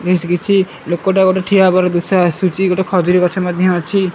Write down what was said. ବେଶ୍ କିଛି ଲୋକଟା ଗୋଟେ ଠିଆ ହେବାର ଦୃଶ୍ୟ ଆସୁଛି ଗୋଟେ ଖଜୁରୀ ଗଛ ମଧ୍ୟ ଅଛି।